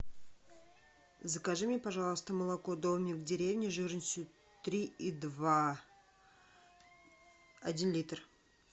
закажи мне пожалуйста молоко домик в деревне жирностью три и два один литр